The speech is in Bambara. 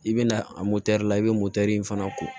I bɛna a la i bɛ in fana ko